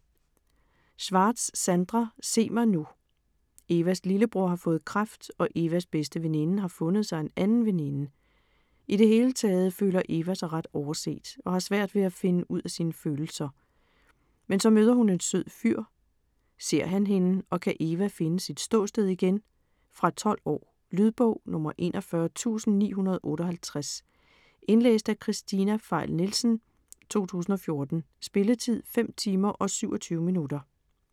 Schwartz, Sandra: Se mig nu Evas lillebror har fået kræft, og Evas bedste veninde har fundet sig en anden veninde. I det hele taget føler Eva sig ret overset, og har svært ved at finde ud af sine følelser. Men så møder hun en sød fyr, ser han hende og kan Eva finde sit ståsted igen? Fra 12 år. Lydbog 41958 Indlæst af Kristina Pfeil Nielsen, 2014. Spilletid: 5 timer, 27 minutter.